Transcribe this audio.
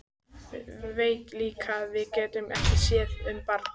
Veit líka að við getum ekki séð um barn.